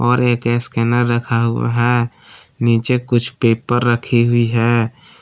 और एक स्कैनर रखा हुआ है नीचे कुछ पेपर रखी हुई है।